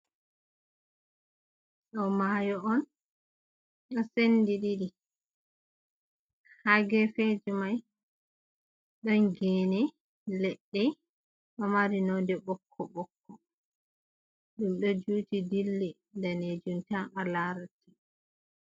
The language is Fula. Ɗo maayo on ɗon sendi ɗiɗi. Ha gefeji mai ɗon gene, leɗɗe, ɗon mari nonde ɓokko ɓokko, ɗum ɗo juuti dilli danejum tan a larata.